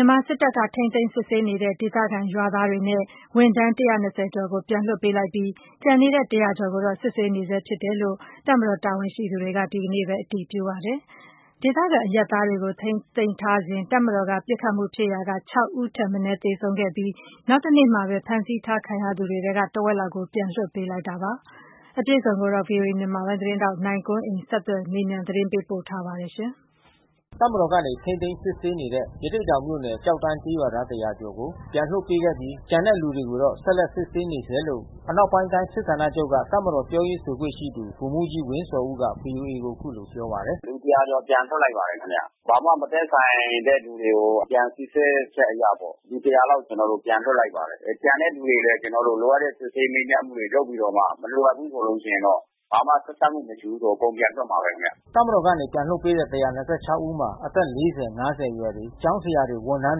ြန်မာစစ်တပ်က ထိန်းသိမ်းစစ်ဆေးနေတဲ့ ဒေသခံ ရွာသားတွေနဲ့ ဝန်ထမ်း ကျော်ကို ပြန်လွှတ်ပေးလိုက်ပြီး ကျန်နေတဲ့ ကျော်ကိုတော့ စစ်ဆေးနေဆဲဖြစ်တယ်လို့ တပ်မတော်တာဝန်ရှိသူတွေက ဒီနေ့ပဲ အတည်ပြု ပြောဆိုလိုက်ပါတယ်။ ဒေသခံ အရပ်သား တွေကို ထိန်းသိမ်းထားစဉ် တပ်မတော်က ပစ်ခတ်မှုဖြစ်ရာက ဦးထက်မနည်း သေဆုံးခဲ့ပြီး နောက်တနေ့မှာပဲ ဖမ်းဆီးခံထားရသူတွေထဲက တဝက်လောက်ကို ပြန်လွှတ်ပေးလိုက်တာပါ။ အပြည့်အစုံကိုတော့ ဗွီအိုအေ မြန်မာပိုင်း သတင်းထောက် နိုင်ကွန်းအိန်ကနေ ဆက်သွယ်မေးမြန်း သတင်းပေးပို့ထားပါတယ်။ တပ်မတော်က ထိန်းသိမ်းစစ်ဆေးနေတဲ့ ရသေ့တောင်မြို့နယ် ကျောက်တန်းကျေးရွာသား ကျော်ကို ပြန်လွှတ် ပေး ခဲ့ပြီး ကျန်တဲ့လူတွေကိုတော့ ဆက်လက်စစ်ဆေးနေဆဲလို့ အနောက်ပိုင်းတိုင်း စစ်ဌာနချုပ်က တပ်မတော် ပြောရေးဆိုခွင့်ရှိသူ ဗိုလ်မှူးကြီး ဝင်းဇော်ဦးက ဗွီအိုအေကိုအခုလို ပြောပါတယ်။ “လူ ကျော် ပြန်လွှတ်လိုက်ပါတယ်ခင်ဗျ။ ဘာမှမသက်ဆိုင်တဲ့ သူတွေကို ပြန်စီစစ်ချက်အရပေါ့။ လူ လောက် ကျနော်တို့ ပြန်လွှတ်လိုက်ပါတယ်။ ကျန်တဲ့လူတွေလည်း ကျနော်တို့လိုတဲ့ စစ်ဆေးမေးမြန်းမှုတွေလုပ်ပြီးတော့ မလိုအပ်ဘူးဆိုလို့ရှိရင်တော့ ဘာမှဆက်စပ်မှုမရှိဘူးဆိုလို့ရှိရင် အကုန်ပြန်လွှတ်မှာပဲခင်ဗျ။" တပ်မတော်ကနေ ပြန်လွှတ်ပေးတဲ့ ဦးမှာ အသက် အရွယ်တွေ ကျောင်းဆရာတွေ ဝန်ထမ်း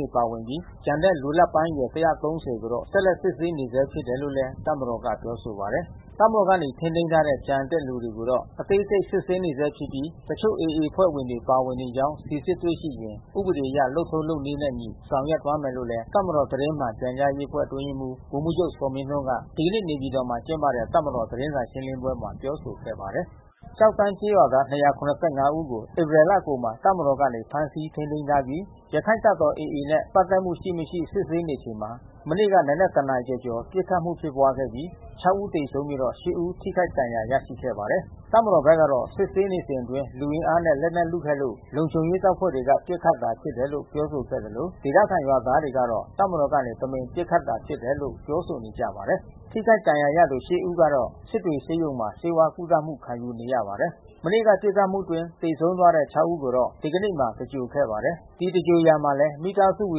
တွေပါဝင်ပြီး ကျန်တဲ့လူလတ်ပိုင်းအရွယ် ခန့်ကိုတော့ ဆက်လက် စစ်ဆေးနေဆဲ ဖြစ်တယ်လို့လည်း တပ်မတော်က ပြောဆိုထားပါတယ်။ တပ်မတော်ကနေ ထိန်းသိမ်းထားတဲ့ ကျန်တဲ့သူတွေကိုတော့ အသေးစိတ်စစ်ဆေးနေဆဲဖြစ်ပြီး တချို့ AA အဖွဲ့ဝင်တွေပါနေကြောင်း စိစစ်တွေ့ရှိရင် ဥပဒေအရ လုပ်ထုံးလုပ်နည်းနဲ့ အညီဆောင်ရွက်သွားမယ်လို့ တပ်မတော်သတင်း မှန်ပြန်ကြားရေးအဖွဲ့ အတွင်းရေးမှူးဗိုလ်မှူးချုပ် ဇော်မင်းထွန်းက ဒီကနေ့နေပြည်တော်မှာကျင်းပတဲ့ တပ်မတော် သတင်းစာရှင်းလင်းပွဲမှာ ပြောဆိုခဲ့ပါတယ်။ ကျောက်တန်းကျေးရွာသား ဦးကို ဧပြီလကုန်မှာ တပ်မတော်ကနေ ဖမ်းဆီးထိန်းသိမ်းထားပြီး ရခိုင့်တပ်တော် AA နဲ့ ပတ်သက်မှုရှိမရှိ စစ်ဆေးနေချိန် မနေ့နံက် နာရီကျော်ကျော်ပစ်ခတ်မှုဖြစ်ပွါးခဲ့ပြီး ဦးသေဆုံးပြီးတော့ ဦး ထိခိုက်ဒဏ်ရာရရှိခဲ့ပါတယ်။ တပ်မတော်ဘက်ကတော့ စစ်ဆေးနေစဉ်အတွင်း လူအင်အားနဲ့ လက်နက်လုခဲ့လို့ လုံခြုံရေးတပ်ဖွဲ့က ပစ်ခတ်တာဖြစ်တယ်လို့ ပြောဆိုခဲ့သလို ဒေသခံရွာသားတွေကတော့ တပ်မတော်ကနေ တမင်ပစ်ခတ်တာဖြစ်တယ်လို့ ပြောဆိုနေကြပါတယ်။ ထိခိုက်ဒဏ်ရာရသူ ဦးကတော့ စစ်တွေဆေးရုံမှာ ဆေးဝါးကုသမှုခံယူနေရပါတယ်။ မနေ့ကပစ်ခတ်မှုအတွင်းသေဆုံးသွားတဲ့ ဦးကိုတော့ ဒီကနေ့မှာ သင်္ဂြိုလ်ခဲ့ပါတယ်။ ဒီသင်္ဂြိုလ်ရာမှာလည်း မိသားစုဝ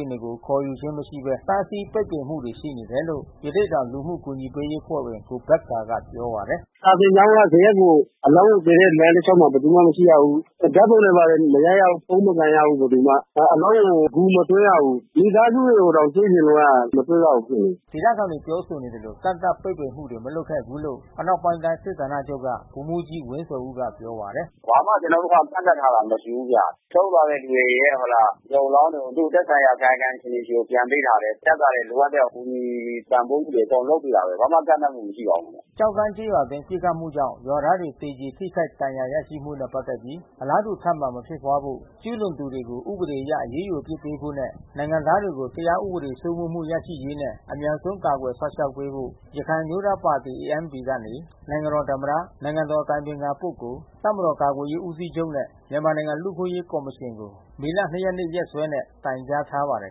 င် တွေ ခေါ်ခြင်းမရှိဘဲ တားဆီးပိတ်ပင်မှုတွေ ရှိနေတယ်လို့ ရသေ့တောင် လူမှုကူညီရေးအဖွဲ့ဝင် ကိုဘက္ကာကပြော ပါတယ်။ “စာသင်ကျောင်းက ဇရပ်ကို အလောင်းကို သယ်တဲ့လမ်းတလျှောက်မှာ ဘယ်သူမှမရှိရဘူး။ ဓါတ်ပုံတွေဘာတွေ မရိုက်ရဘူး။ ဖုန်းမကိုင်ရဘူး ဘယ်သူမှ။ အလောင်းကို ဂူမသွင်းရဘူး။ မိသားစုတွေကို တောင်တွေ့ချင်လို့က မတွေ့ရဘူးဖြစ်နေတယ်။” ဒေသခံတွေပြောဆိုနေသလို ကန့်သတ်ပိတ်ပင်မှုတွေ မလုပ်ခဲ့ဘူးလို့ အနောက်ပိုင်းတိုင်းစစ်ဌာနချုပ်ကဗိုလ်မှူးကြီး ဝင်းဇော်ဦးက ပြောပါတယ်။ “ဘာမှ ကျနော်တို့ကန့်သတ်ထားတာ မရှိဘူးဗျ။ ဆုံးသွားတဲ့လူတွေရဲ့ ရုပ်အလောင်းတွေကို သူတို့သက်ဆိုင်ရာ ကာယကံရှင်တွေဆီကို ပြန်ပေးတာပဲ။ တပ်ကလည်းလိုအပ်တဲ့ကူညီပံ့ပိုးမှုတွေ အကုန်လုပ်ပေးတာပဲ။ ဘာမှကန့်သတ်မှုမရှိပါဘူး ခင်ဗျ။” ကျောက်တန်းကျေးရွာအတွင်း ပစ်ခတ်မှုကြောင့် ရွာသားတွေ သေကြေထိခိုက်ဒဏ်ရာ ရရှိမှုနဲ့ပတ်သက်ပြီး အလားတူ ထပ်မံမဖြစ်ပွါးဖို့ ကျူးလွန်သူတွေကို ဥပဒေအရ အရေးယူအပစ်ပေးဖို့နဲ့ နိုင်ငံသားတွေကို တရားဥပဒေစိုးမိုးမှု ရရှိရေး နဲ့အမြန်ဆုံးကာကွယ်စောင့်ရှောက်ပေးဖို့ ရခိုင်အမျိုးသားပါတီ ANP ကနေ နိုင်ငံတော်သမ္မတ နိုင်ငံတော်အတိုင်ပင်ခံ ပုဂ္ဂိုလ် တပ်မတော်ကာကွယ်ရေးဦးစီးချုပ်နဲ့ မြန်မာနိုင်ငံ လူ့အခွင့်အရေးကော်မရှင်ကို မေလ ရက်နေ့ ရက်စွဲနဲ့ တိုင်ကြားထားပါတယ်